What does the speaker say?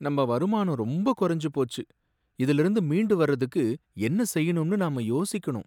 நம்ப வருமானம் ரொம்ப குறைஞ்சு போச்சு! இதிலிருந்து மீண்டு வர்றதுக்கு என்ன செய்யணும்னு நாம யோசிக்கணும்.